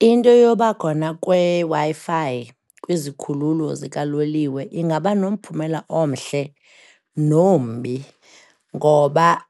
Into yobakhona kweWi-Fi kwizikhululo zikaloliwe ingaba nomphumela omhle nombi, ngoba